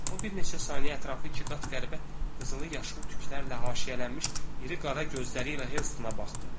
O bir neçə saniyə ətrafı ikiqat qəribə qızılı-yaşıl tüklərlə haşiyələnmiş iri qara gözləri ilə Helstona baxdı.